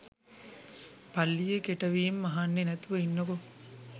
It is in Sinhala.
පල්ලියේ කෙටවීම් අහන්නේ නැතිව ඉන්නකෝ